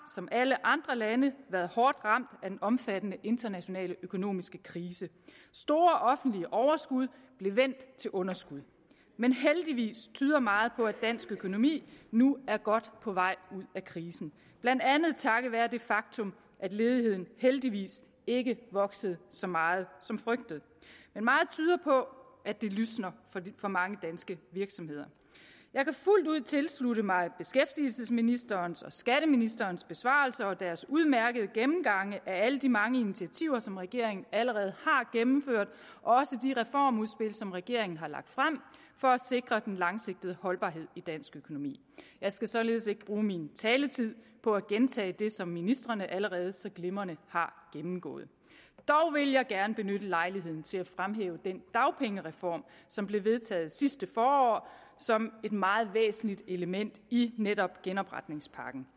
som alle andre lande været hårdt ramt af den omfattende internationale økonomiske krise store offentlige overskud blev vendt til underskud men heldigvis tyder meget på at dansk økonomi nu er godt på vej ud af krisen blandt andet takket være det faktum at ledigheden heldigvis ikke voksede så meget som frygtet men meget tyder på at det lysner for mange danske virksomheder jeg kan fuldt ud tilslutte mig beskæftigelsesministerens og skatteministerens besvarelser og deres udmærkede gennemgange af alle de mange initiativer som regeringen allerede har gennemført også de reformudspil som regeringen har lagt frem for at sikre den langsigtede holdbarhed i dansk økonomi jeg skal således ikke bruge min taletid på at gentage det som ministrene allerede så glimrende har gennemgået dog vil jeg gerne benytte lejligheden til at fremhæve den dagpengereform som blev vedtaget sidste forår som et meget væsentligt element i netop genopretningspakken